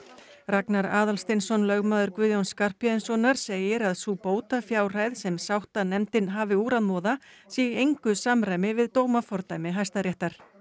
Ragnar Aðalsteinsson lögmaður Guðjóns Skarphéðinssonar segir að sú bótafjárhæð sem sáttanefndin hafi úr að moða sé í engu samræmi við dómafordæmi Hæstaréttar